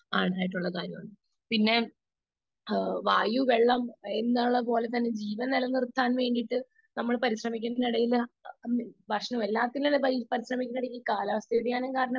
Speaker 2 അങ്ങനെ ആയിട്ടുള്ള കാര്യങ്ങൾ. പിന്നെ വായു വെള്ളം എന്നുള്ളത് പോലെത്തന്നെ ജീവൻ നിലനിർത്താൻ വേണ്ടിയിട്ട് നമ്മൾ പരിശ്രമിക്കുന്ന